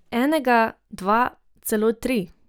Enega, dva, celo tri.